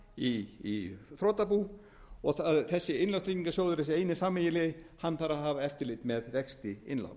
í þrotabú og þessi eini sameiginlegi innlánstryggingarsjóður þarf að hafa eftirlit með vexti innlána